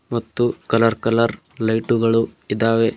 ಮತ್ತು colour colour light ಗಳು ಇದ್ದಾವೆ.